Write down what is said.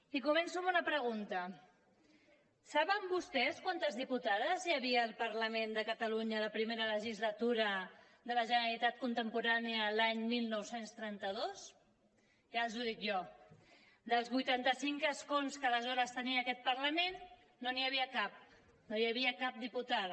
i començo amb una pregunta saben vostès quantes diputades hi havia al parlament de catalunya a la primera legislatura de la generalitat contemporània l’any dinou trenta dos ja els ho dic jo dels vuitanta cinc escons que aleshores tenia aquest parlament no n’hi havia cap no hi havia cap diputada